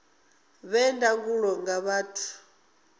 vhe na ndangulo nga vhathu